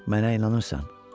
Mənə inanırsan.